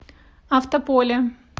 автополе